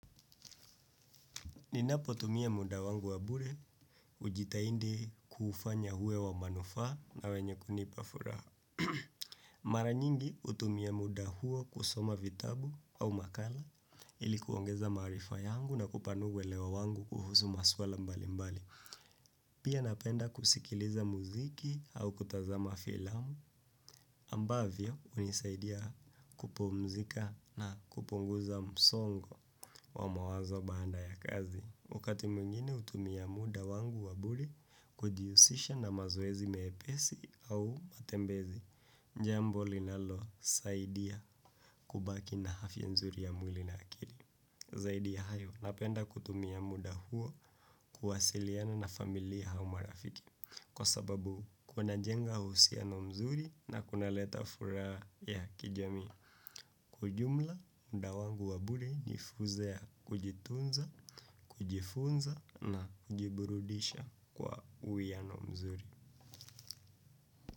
Ninapo tumia muda wangu wa bure, hujitahidi kufanya uwe wa manufaa na wenye kunipa furaha. Mara nyingi hutumia muda huo kusoma vitabu au makala ili kuongeza maarifa yangu na kupanua uelewa wangu kuhusu masuala mbalimbali. Pia napenda kusikiliza muziki au kutazama filamu ambavyo hunisaidia kupumzika na kupunguza msongo wa mawazo baada ya kazi. Wakati mwingine hutumia muda wangu wa bure kujihusisha na mazoezi mepesi au matembezi, jambo linalo saidia kubaki na avya mzuri ya mwili na akili. Zaidi ya hayo, napenda kutumia muda huo kuwasiliana na familia au marafiki. Kwa sababu, kunajenga uhusiano mzuri na kunaleta furaha ya kijamii. Kiujumla, muda wangu wa bure ni fursa ya kujitunza, kujifunza na kujiburudisha kwa uiyano mzuri.